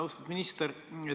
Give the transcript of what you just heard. Austatud minister!